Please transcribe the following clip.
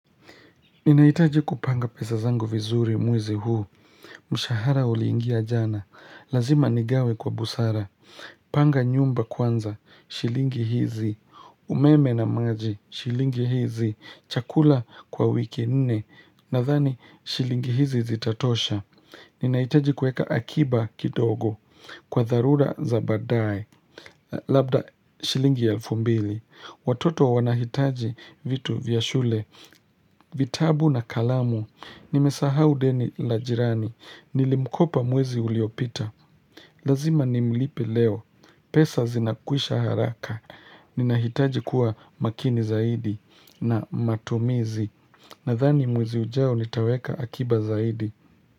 Ninahitaji kupanga pesa zangu vizuri muizi huu, mshahara ulingia jana, lazima nigawe kwa busara, panga nyumba kwanza, shilingi hizi, umeme na maji, shilingi hizi, chakula kwa wiki nne, na thani shilingi hizi zitatosha. Ninahitaji kueka akiba kidogo kwa tharura zabadae labda shilingi elfu mbili Watoto wanahitaji vitu vya shule, vitabu na kalamu Nimesaha udeni la jirani, nilimkopa muwezi uliopita Lazima nimlipe leo, pesa zinakuisha haraka Ninahitaji kuwa makini zaidi na matomizi Nathani muwezi ujao nitaweka akiba zaidi.